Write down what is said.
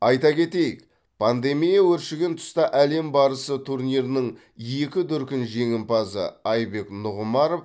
айта кетейік пандемия өршіген тұста әлем барысы турнирінің екі дүркін жеңімпазы айбек нұғымаров